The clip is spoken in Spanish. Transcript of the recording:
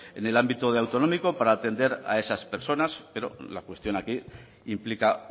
en el ámbito autonómico para atender a esas personas pero la cuestión aquí implica